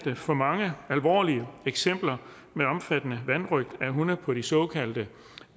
for mange alvorlige eksempler med omfattende vanrøgt af hunde på de såkaldte